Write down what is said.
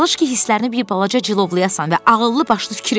Çalış ki, hisslərini bir balaca cilovlayasan və ağıllı başlı fikir elə.